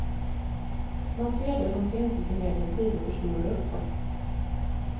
Man ser det som finns i sin egen tid och förstorar upp det.